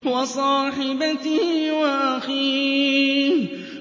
وَصَاحِبَتِهِ وَأَخِيهِ